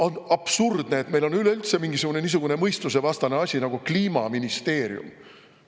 On absurdne, et meil on üleüldse niisugune mõistusevastane asi nagu Kliimaministeerium.